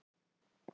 Flugan er afrísk.